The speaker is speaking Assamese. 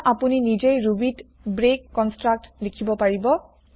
এতিয়া আপুনি নিজেই ৰুবিত ব্ৰেক কনস্ত্ৰাক্ত লিখিব পাৰিব